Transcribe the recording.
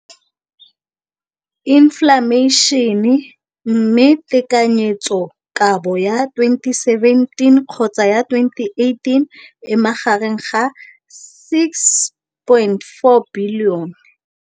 Infleišene, mme tekanyetsokabo ya 2017, 18, e magareng ga R6.4 bilione.